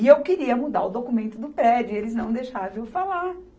E eu queria mudar o documento do prédio, e eles não deixavam eu falar.